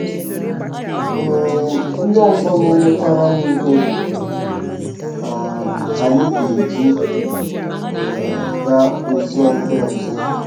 um Ndị ọzọ na-enyekwara anyị ihe um anyị ga-eji um gaa ozi ọma ọzọ.